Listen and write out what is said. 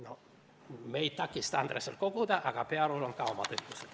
Noh, me ei takista Andresel koguda, aga Pearul on ka omad õigused.